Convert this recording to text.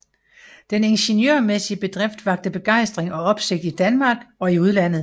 Den ingeniørmæssige bedrift vakte begejstring og opsigt i Danmark og i udlandet